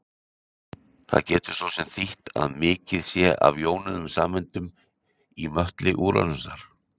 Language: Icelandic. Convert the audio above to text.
Það getur svo þýtt að mikið sé af jónuðum sameindum í möttli Úranusar.